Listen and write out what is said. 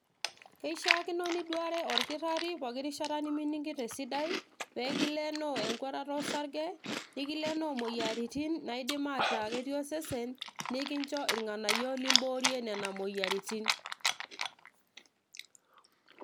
kishaakino niduare orkitarri poki rishata nemining'ito esidai pekilenoo enkuatata osarge nikileenoo imoyiaritin naidim ataa ketii osesen nikincho irng'anayio limboorie nena moyiaritin.